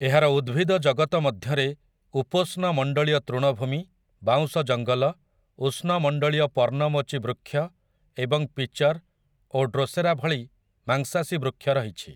ଏହାର ଉଦ୍ଭିଦ ଜଗତ ମଧ୍ୟରେ ଉପୋଷ୍ଣମଣ୍ଡଳୀୟ ତୃଣଭୂମି, ବାଉଁଶ ଜଙ୍ଗଲ, ଉଷ୍ଣମଣ୍ଡଳୀୟ ପର୍ଣ୍ଣମୋଚୀ ବୃକ୍ଷ ଏବଂ ପିଚର୍ ଓ ଡ୍ରୋସେରା ଭଳି ମାଂସାଶୀ ବୃକ୍ଷ ରହିଛି ।